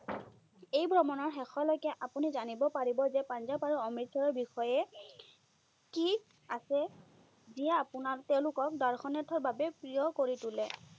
এই ভ্ৰমণৰ শেষলৈকে আপুনি জানিব পাৰিব যে পাঞ্জাৱ আৰু অমৃতসৰৰ বিষয়ে কি আছে, যিয়ে আপোনাক তেওঁলোকক দৰ্শনাৰ্থৰ বাবে প্ৰিয় কৰি তোলে।